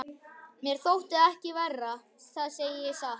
Mér þótti það ekki verra, það segi ég satt.